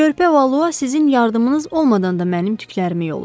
Körpə Valua sizin yardımınız olmadan da mənim tüklərimi yolur.